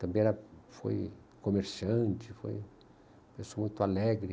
Também foi comerciante, foi uma pessoa muito alegre.